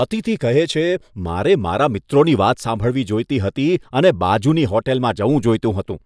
અતિથી કહે છે, મારે મારા મિત્રોની વાત સાંભળવી જોઈતી હતી અને બાજુની હોટેલમાં જવું જોઈતું હતું.